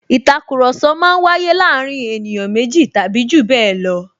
Ìtakùrọ̀sọ máa ń waye láàárín ènìyàn méjì tàbí jù bẹẹ lọ